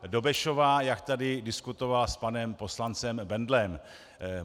Dobešová, jak tady diskutovala s panem poslancem Bendlem.